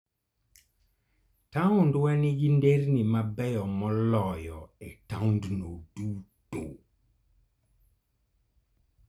Taondwa nigi nderni mabeyo moloyo e taondno duto.